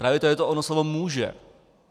Právě to je to ono slovo "může".